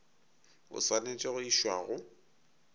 o swanetše go išwa go